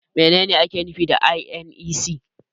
Menene ake nufi da INEC?